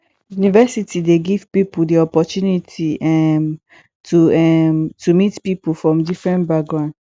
university dey give pipo di opportunity um to um to meet pipo from different background